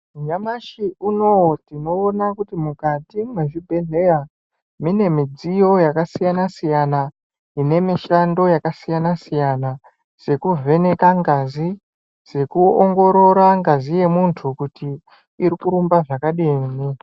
Nyamashi Inouyu tinoona kuti mukati mezvibhedhlera mune midziyo yakasiyana siyana ine mishando yakasiyana siyana sekuvheneka ngazi sekuongorora ngazi yemuntu kuti irikurumba zvakadini.